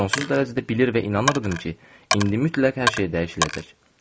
Sonsuz dərəcədə bilir və inanırdım ki, indi mütləq hər şey dəyişiləcək.